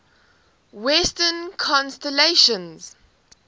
western constellations